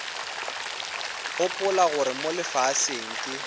gopola gore mo lefaseng ke